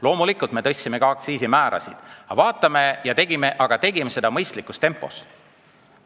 Loomulikult me tõstsime ka aktsiisimäärasid, aga me tegime seda mõistlikus tempos.